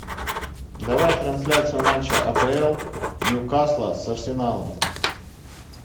давай трансляцию матча апл ньюкасла с арсеналом